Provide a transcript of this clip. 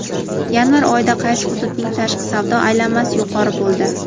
Yanvar oyida qaysi hududining tashqi savdo aylanmasi yuqori bo‘ldi?.